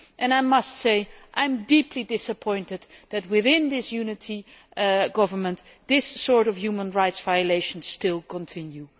I must say that I am deeply disappointed that, within this Unity Government, this sort of human rights violation still continues.